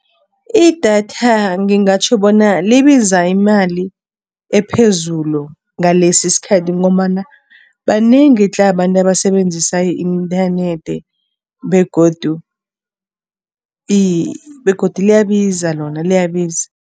Idatha ngingatjho bona libiza imali ephezulu ngalesi isikhathi ngombana banengi tle, abantu abasebenzisa i-inthanethi begodu liyabiza lona, liyabiza.